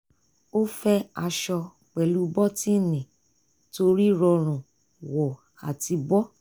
ó fẹ́ aṣọ pẹ̀lú bọ́tíìnì torí rọrùn wọ̀ àti bọ́